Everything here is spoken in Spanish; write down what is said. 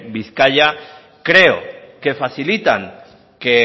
bizkaia creo que facilitan que